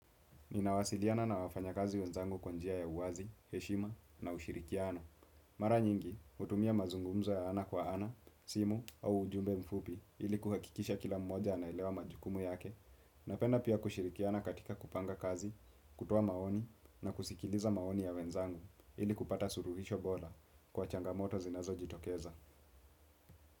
Ninawasiliana na wafanya kazi wenzangu kwanjia ya uwazi, heshima na ushirikiano. Mara nyingi, hutumia mazungumzo ya ana kwa ana, simu au ujumbe mfupi ili kuhakikisha kila mmoja naelewa majukumu yake. Napenda pia kushirikiana katika kupanga kazi, kutoa maoni na kusikiliza maoni ya wenzangu ili kupata suruhisho bora kwa changamoto zinazo jitokeza.